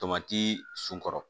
Tomati sunkɔrɔ